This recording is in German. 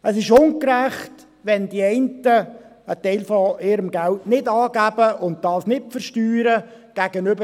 Es ist gegenüber den Ehrlichen, die alles angeben, ungerecht, wenn die einen einen Teil ihres Geldes nicht angeben und es nicht versteuern.